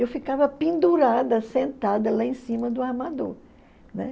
Eu ficava pendurada, sentada lá em cima do armador. Né?